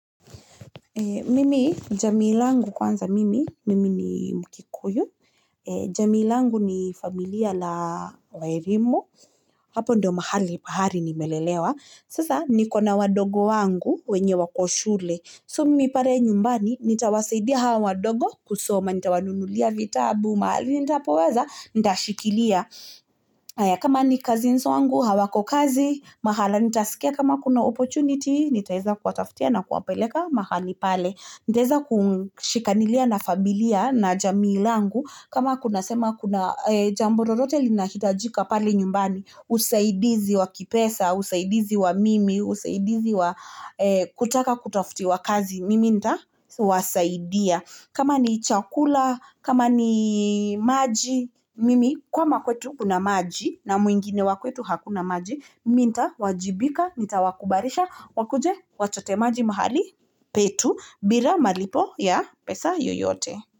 Mimi jami langu kwanza mimi, mimi ni Mkikuyu jami langu ni familia la waerimo hapo ndo mahali, mahali nimelelewa sasa ni kona wadogo wangu, wenye wa koshule so mimi pare nyumbani, nita wasaidia hawa wadogo kusoma nita wanunulia vita, bumali, nita powaza, nita shikilia kama ni cousins wangu, hawako kazi mahala nita sikia kama kuna opportunity nita weza kwa taftia na kwa peleka mahali pale nita weza kwa shikanilia na familia na jami langu kama kuna jambo rorote lina hitajika pale nyumbani usaidizi wa kipesa, usaidizi wa mimi, usaidizi wa kutaka kwa taftiawa wakazi, mimi nita wasaidia kama ni itiakula, kama ni maji mimi kama kwetu kuna maji, na mwingine wakuetu hakunamaji mi ntawajibika, nita wakubarisha wakuje wachotemaji mahali petu, bila malipo ya pesa yoyote.